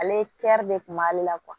Ale de kun b'ale la